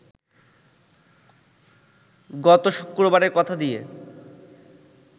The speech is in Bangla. গত শুক্রবারের কথা দিয়ে